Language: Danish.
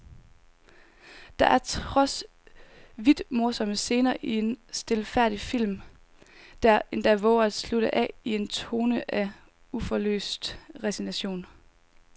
Der er trods vildt morsomme scener en stilfærdig film, der endda vover at slutte af i en tone af uforløst resignation.